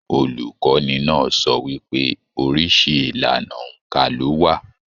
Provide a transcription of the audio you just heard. Olukọni náà sọ wípé oríṣi ìlànà óńka lo wà.